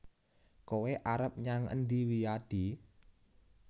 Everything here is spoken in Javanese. Kowe arep nyang endi Wiyadi